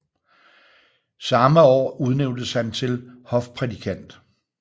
Samme år udnævntes han til hofprædikant